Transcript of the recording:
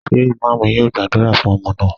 Ṣé Imam yóò gbàdúrà fún ọmọ náà?